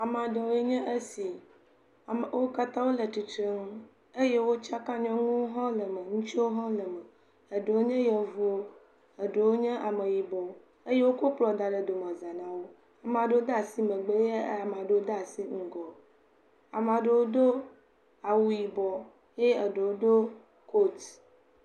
Ame aɖewo enye esi, wokatã wole tsitre nu, eye wotsaka nyɔnuwo hã wole eme ŋutsuwo hã wole eme. Eɖewo nye yevuwo eɖewo nye ameyibɔ eye wokɔ kpl da ɖe domezã nawo, Ameaɖewo dasi megbe eye ameaɖewo dasi ŋgɔ, Ameaɖewo do awu yibɔ ye eɖewo do kot.